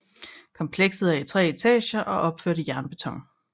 Komplekset er i 3 etager og opført i jernbeton